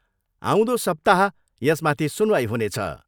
आउँदो सप्ताह यसमाथि सुनवाई हुनेछ।